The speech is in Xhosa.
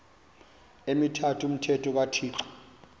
emithathu umthetho kathixo